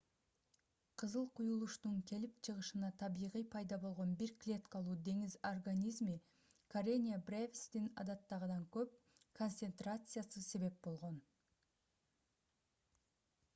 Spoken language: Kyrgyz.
кызыл куюлуштун келип чыгышына табигый пайда болгон бир клеткалуу деңиз организми karenia brevis'тин адаттагыдан көп концетрациясы себеп болгон